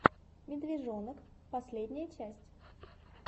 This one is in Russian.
медвежонок последняя часть